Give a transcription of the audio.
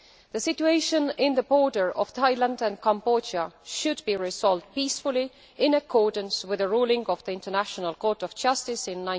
The situation on the border between Thailand and Cambodia should be resolved peacefully in accordance with the ruling of the International Court of Justice of